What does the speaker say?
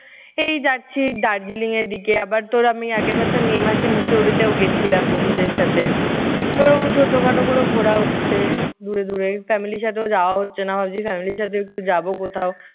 এই যাচ্ছি দার্জিলিং এর দিকে। আবার তোর আমি আগে বছর may মাসে মুসৌরিতেও গেছিলাম বন্ধুদের সাথে। তো এরকম ছোটখাটো করে ঘোরা হচ্ছে দূরে দূরে। family সাথেও যাওয়া হচ্ছে না। ভাবছি family সাথে একটু যাব কোথাও।